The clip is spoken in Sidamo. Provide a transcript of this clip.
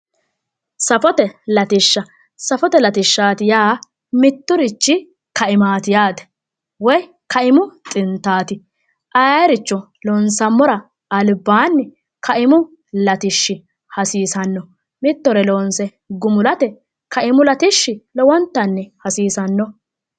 Safote latishaha yaa mitturichinni kaimaati yaate woyi kaimu xintaati aayirichono loonsammor albaanni kaimu latishshi hasiissanno mittore loonse gumulate kaimu lowontanni hasiissano